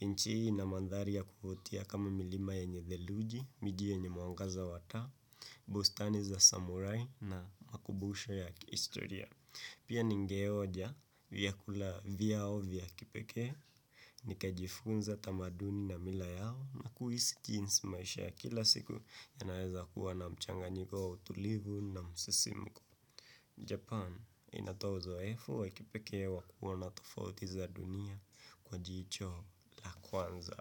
Nchi hii ina mantari ya kuvutia kama milima yenye theluji, miji yenye mwangaza wa taa, bustani za samurai na makumbusho ya kihistoria. Pia ningeoja vyakula vyao vya kipeke, nika jifunza tamaduni na mila yao na kuisi jinsi maisha ya kila siku ya naeza kuwa na mchanganyiko wa utulivu na msesimiko. Japan inatoa uzoefu wa kipeke wa kuona tofauti za dunia kwa jicho la kwanza.